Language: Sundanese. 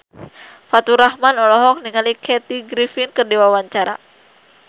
Faturrahman olohok ningali Kathy Griffin keur diwawancara